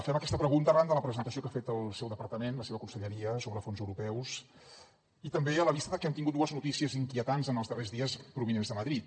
fem aquesta pregunta arran de la presentació que ha fet el seu departament la seva conselleria sobre fons europeus i també a la vista que hem tingut dues notícies inquietants en els darrers dies provinents de madrid